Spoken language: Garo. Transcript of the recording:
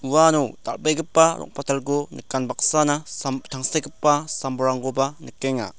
uano dal·begipa rong·patalko nikan baksana sam-tangsekgipa sam-bolrangkoba nikenga.